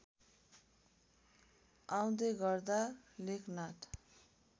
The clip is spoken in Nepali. आउँदै गर्दा लेखनाथ